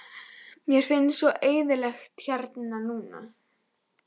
Mér finnst svo eyðilegt hérna núna.